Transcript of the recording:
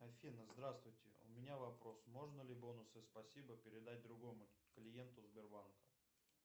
афина здравствуйте у меня вопрос можно ли бонусы спасибо передать другому клиенту сбербанка